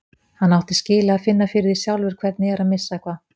Hann átti skilið að finna fyrir því sjálfur hvernig er að missa eitthvað.